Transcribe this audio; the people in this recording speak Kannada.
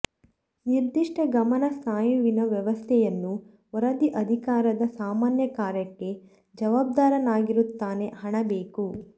ನಿರ್ದಿಷ್ಟ ಗಮನ ಸ್ನಾಯುವಿನ ವ್ಯವಸ್ಥೆಯನ್ನು ವರದಿ ಅಧಿಕಾರದ ಸಾಮಾನ್ಯ ಕಾರ್ಯಕ್ಕೆ ಜವಾಬ್ದಾರನಾಗಿರುತ್ತಾನೆ ಹಣ ಬೇಕು